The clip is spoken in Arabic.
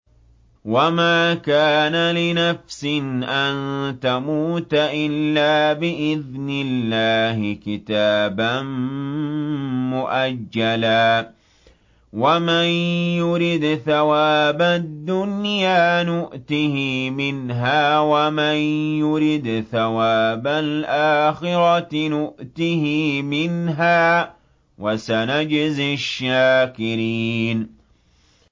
وَمَا كَانَ لِنَفْسٍ أَن تَمُوتَ إِلَّا بِإِذْنِ اللَّهِ كِتَابًا مُّؤَجَّلًا ۗ وَمَن يُرِدْ ثَوَابَ الدُّنْيَا نُؤْتِهِ مِنْهَا وَمَن يُرِدْ ثَوَابَ الْآخِرَةِ نُؤْتِهِ مِنْهَا ۚ وَسَنَجْزِي الشَّاكِرِينَ